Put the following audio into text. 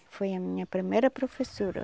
foi a minha primeira professora.